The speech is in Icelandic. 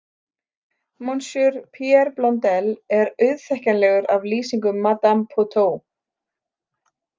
Monsieur Pierre Blondelle er auðþekkjanlegur af lýsingum Madame Pouteaux.